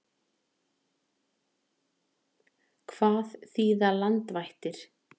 Hvað þýða landvættir?